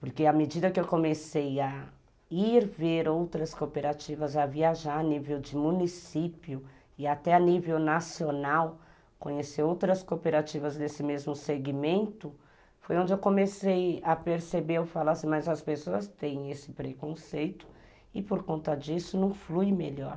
Porque à medida que eu comecei a ir ver outras cooperativas, a viajar a nível de município e até a nível nacional, conhecer outras cooperativas desse mesmo segmento, foi onde eu comecei a perceber, eu falasse, mas as pessoas têm esse preconceito e por conta disso não flui melhor.